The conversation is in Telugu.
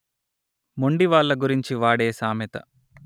మొండి వాళ్ల గురించి వాడే సామెత